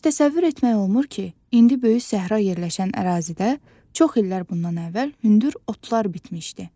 Heç təsəvvür etmək olmur ki, indi böyük səhra yerləşən ərazidə çox illər bundan əvvəl hündür otlar bitmişdi.